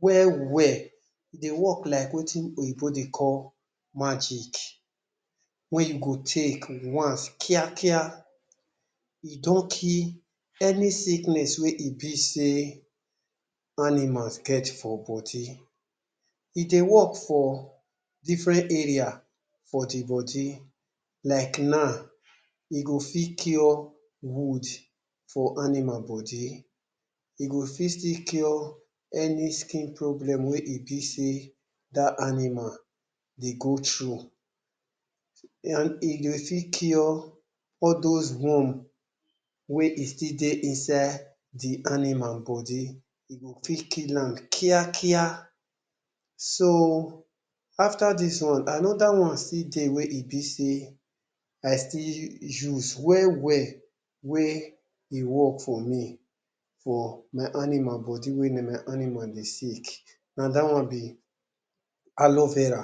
well well. E dey work like wetin oyinbo dey call magic wey you go take once kia kia e don kill any sickness wey e be sey animals get for body. E dey work for different area for de body. Like now, e go fit cure wound for animal body. E go fit still cure any skin problem wey e be sey dat animal dey go through, and e go fit cure all those worm wey e still dey inside de animal body. E go fit kill am kia kia. So, after dis one, another one still dey wey e be sey I still use well well wey e work for me for my animal body when na my animal dey sick. Na dat one be Aleo Vera.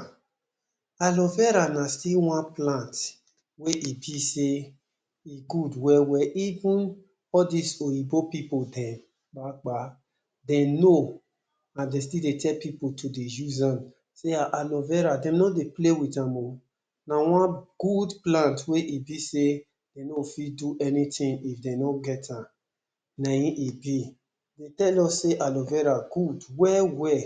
Aleo Vera na still one plant wey e be sey e good well well. Even all these oyinbo pipu dem dem know, and dem still dey tell pipu to dey use am, sey um Aloe Vera dem no dey play with am o. Na one good plant wey e be sey dem no fit do anything if dem no get am. Na im e be. Dem tell us sey Aloe Vera good well well,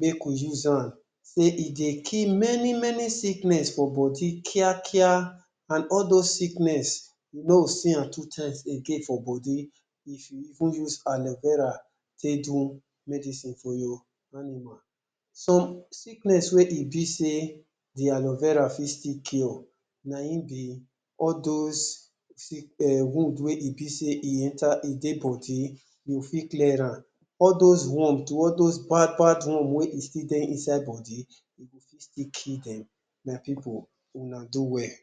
make we use am, say e dey kill many many sickness for body kia kia, and all those sickness we no see am two times again for body if we even use Aleo Vera take do medicine for your animal. Some sickness wey e be sey the Aloe Vera fit still cure na im be all those um wound wey e be sey e enter e dey body, e go fit clear am. All those worm too, all those bad bad worm wey e still dey inside body, e go still kill dem. My pipu, una do well.